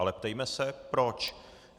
Ale ptejme se proč.